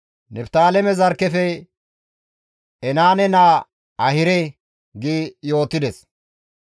Niftaaleme zarkkefe Enaane naa Ahire» gi yootides.